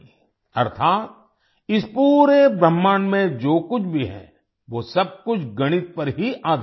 अर्थात इस पूरे ब्रह्मांड में जो कुछ भी है वो सब कुछ गणित पर ही आधारित है